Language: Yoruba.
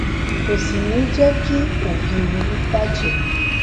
kò sì ní jé kí ògiri bà jé